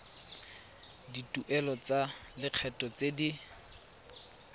dituelo tsa lekgetho tse di